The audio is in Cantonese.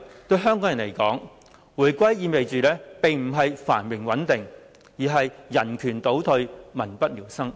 對香港人來說，回歸意味的並不是繁榮穩定，而是人權倒退、民不聊生。